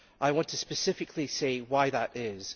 I want to specifically say why that is.